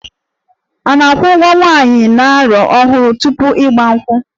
A na-akwụ ụgwọ nwaanyị a na-alụ ọhụrụ tupu 'Igba nkwu'?